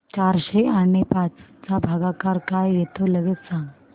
चारशे आणि पाच चा भागाकार काय येतो लगेच सांग